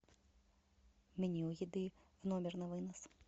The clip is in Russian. меню еды в номер на вынос